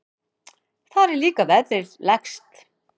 Þar er líka verðið lægst.